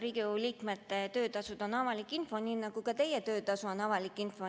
Riigikogu liikmete töötasud on avalik info, nii nagu ka teie töötasu on avalik info.